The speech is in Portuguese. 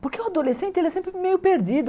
Porque o adolescente, ele é sempre meio perdido.